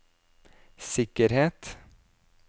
sikkerhet